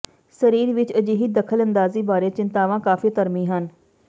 ਸਰੀਰ ਵਿੱਚ ਅਜਿਹੀ ਦਖਲਅੰਦਾਜ਼ੀ ਬਾਰੇ ਚਿੰਤਾਵਾਂ ਕਾਫ਼ੀ ਧਰਮੀ ਹਨ